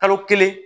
Kalo kelen